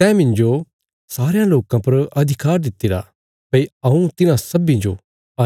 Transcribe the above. तैं मिन्जो सारयां लोकां पर अधिकार दित्तिरा भई हऊँ तिन्हां सब्बीं जो